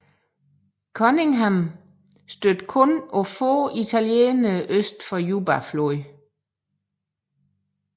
Cunningham stødte kun på få italienere øst for Jubafloden